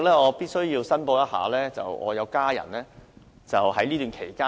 我必須申報，我有家人在近期置業。